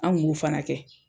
An k'u b'u fana kɛ.